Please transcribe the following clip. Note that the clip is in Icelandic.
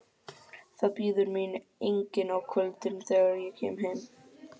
Það bíður mín enginn á kvöldin, þegar ég kem heim.